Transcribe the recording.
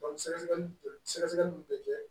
sɛgɛsɛgɛli bɛ sɛgɛsɛgɛliw bɛ kɛ